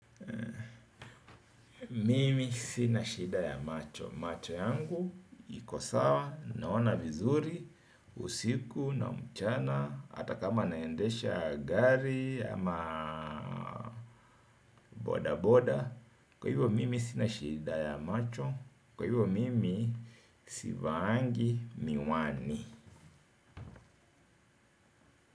Mimi sinashida ya macho. Macho yangu iko sawa naona vizuri. Usiku na mchana hatakama naendesha gari. Ama boda boda. Kwa hivyo mimi sinashida ya macho. Kwa hivyo mimi sivaangi miwani.